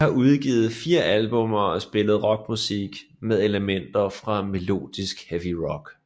De har udgivet fire albums og spiller rockmusik med elementer fra melodisk heavy rock